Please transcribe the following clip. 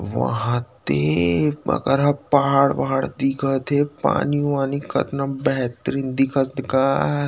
वहाद दे अकरहा पहाड़ वहाड़ दिखत हे पानी-वानी कटना बेहतरीन दिखत गा--